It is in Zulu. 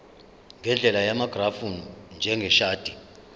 ngendlela yamagrafu njengeshadi